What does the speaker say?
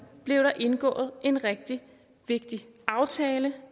blev der indgået en rigtig vigtig aftale